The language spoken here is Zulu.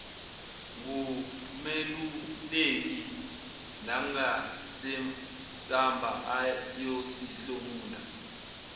ngumeluleki nangesamba ayosihlomula